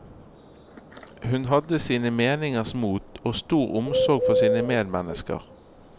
Hun hadde sine meningers mot og stor omsorg for sine medmennesker.